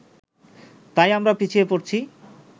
তাই আমরা পিছিয়ে পড়ছি